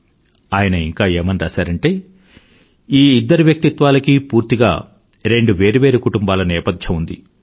ఆయన ఇంకా ఏమని రాసారంటే ఈ ఇద్దరి వ్యక్తిత్వాలకీ పూర్తిగా రెండు వేరు వేరు కుటుంబాల నేపథ్యం ఉంది